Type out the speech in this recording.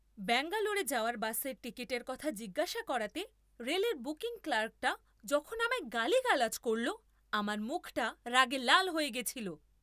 ব্যাঙ্গালোরে যাওয়ার বাসের টিকিটের কথা জিজ্ঞাসা করাতে রেলের বুকিং ক্লার্কটা যখন আমায় গালিগালাজ করল আমার মুখটা রাগে লাল হয়ে গেছিল।